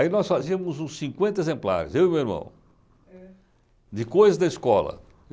Aí nós fazíamos uns cinquenta exemplares, eu e meu irmão, de coisas da escola.